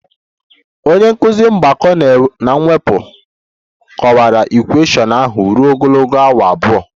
Onye nkụzi mgbakọ na mwepụ m kọwara equation ahụ ruo ogologo awa abụọ